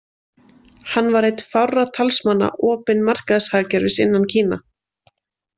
Hann var einn fárra talsmanna opin markaðshagkerfis innan Kína.